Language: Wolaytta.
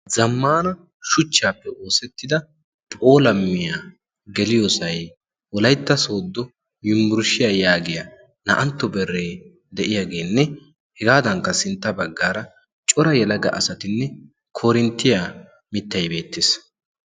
zammaana shuchchaappe oosettida pholammiyaa geliyoosay wolaytta sooddo yuburshshiyaa yaagiya na"antto beree de'iyaageenne hegaadankka sintta baggaara cora yalaga asatinne korinttiyaa mittay beettees